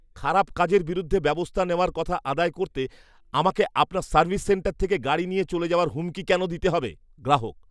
খারাপ কাজের বিরুদ্ধে ব্যবস্থা নেওয়ার কথা আদায় করতে আমাকে আপনার সার্ভিস সেন্টার থেকে গাড়ি নিয়ে চলে যাওয়ার হুমকি কেন দিতে হবে? গ্রাহক